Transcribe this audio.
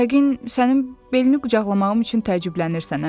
Yəqin sənin belini qucaqlamağım üçün təəccüblənirsən, hə?